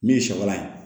Min ye sabanan ye